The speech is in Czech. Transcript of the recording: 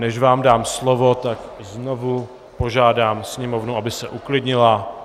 Než vám dám slovo, tak znovu požádám sněmovnu, aby se uklidnila.